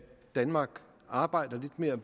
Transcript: danmark arbejder lidt mere